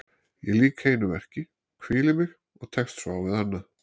Ég lýk einu verki, hvíli mig og tekst svo á við annað.